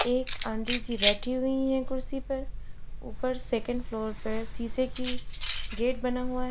एक आंटी जी बैठी हुई है कुर्सी पर ऊपर सेकंड फ्लोर पर शीशे की गेट बना हुआ है।